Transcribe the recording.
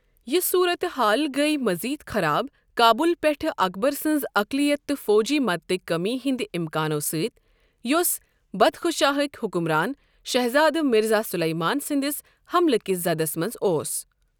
یہٕ صورت حال گٔیۍ مزید خراب قابُل پٮ۪ٹھ اکبر سنٛز اقلیت تہٕ فوجی مدتٕکۍ کمی ہنٛد امکانَو سۭتۍ، یُس بدخشاہٕک حکمران شہزادٕ مرزا سلیمان سنٛدِس حملہٕ کِس زدس منٛز اوس۔